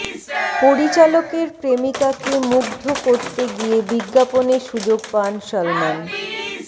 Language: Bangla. পরিচালকের প্রেমিকাকে মুগ্ধ করতে গিয়ে বিজ্ঞাপনে সুযোগ পান সালমান